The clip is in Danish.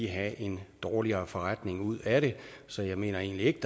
have en dårligere forretning ud af det så jeg mener egentlig ikke